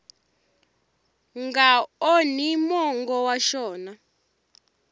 nga onhi mongo wa xona